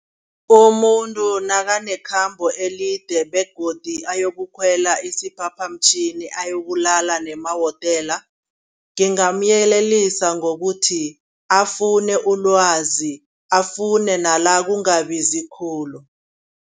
Umuntu nakanekhambo elide begodi ayokukhwela isiphaphamtjhini, ayokulala ngemahotela. Ngingamyelelisa ngokuthi afune ulwazi, afune nala kungabizi khulu.